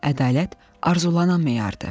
Ədalət arzulanan meyarıdır.